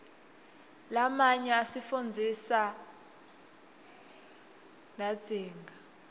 lamanyo asifundzisa rdatsitg